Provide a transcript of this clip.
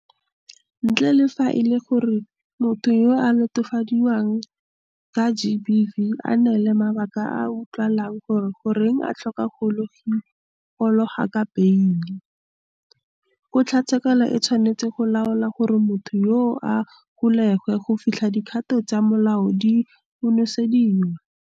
Ntle le fa e le gore motho yo a latofadiwang ka GBV a ka neela mabaka a a utlwagalang gore goreng a tlhoka go gololwa ka beile, kgotlatshekelo e tshwanetse go laola gore motho yoo a golegwe go fitlha dikgato tsa molao di konosediwa.